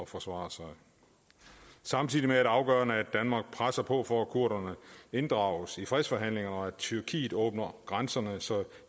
forsvare sig samtidig er det afgørende at danmark presser på for at kurderne inddrages i fredsforhandlingen og tyrkiet åbner grænserne så der